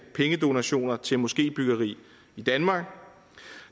pengedonationer til moskébyggeri i danmark